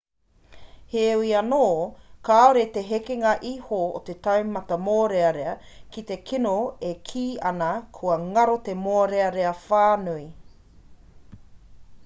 heoi anō kāore te hekenga iho o te taumata mōrearea ki te kino e kī ana kua ngaro te mōrearea whānui